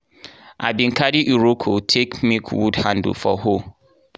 i bin carry iroko take make wood handle for hoe.